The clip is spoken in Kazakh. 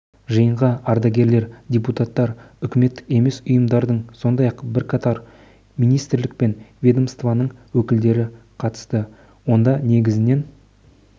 жиынға ардагерлер депутаттар үкіметтік емес ұйымдардың сондай-ақ бірқатар министрлік пен ведомствоның өкілдері қатысты онда негізінен